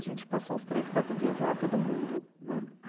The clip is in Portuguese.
A gente passou uns três, quatro dias lá, todo mundo, né?